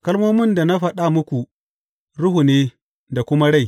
Kalmomin da na faɗa muku, Ruhu ne, da kuma rai.